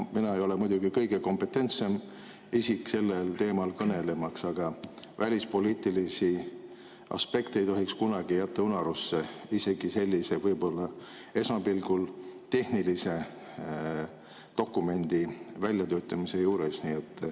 Mina ei ole muidugi kõige kompetentsem isik sellel teemal kõnelema, aga välispoliitilisi aspekte ei tohiks kunagi jätta unarusse, isegi sellise võib-olla esmapilgul tehnilise dokumendi väljatöötamisel.